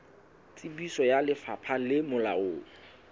tsebiso ya lefapha le molaong